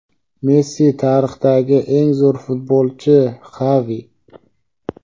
Messi tarixdagi eng zo‘r futbolchi – Xavi.